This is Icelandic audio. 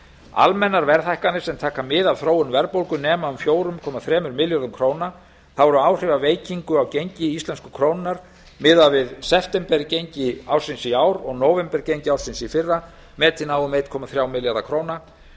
almennar verðhækkanir sem taka mið af þróun verðbólgu nema um fjóra komma þremur milljörðum króna þá eru áhrif af veikingu á gengi íslensku krónunnar miðað við septembergengi ársins í ár og nóvembergengi ársins í fyrra metin á um einn komma þrjá milljarða króna